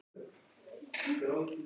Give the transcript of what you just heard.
Betra seint en aldrei.